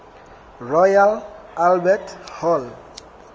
royal albert hall